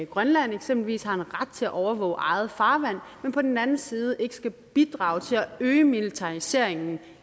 grønland eksempelvis har en ret til at overvåge eget farvand men på den anden side ikke skal bidrage til at øge militariseringen